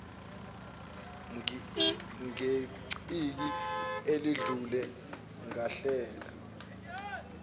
ngeciki eledlule ngahlela